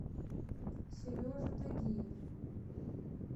сережа тагиев